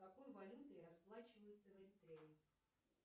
какой валютой расплачиваются в эритрее